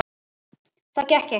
Það gekk ekki.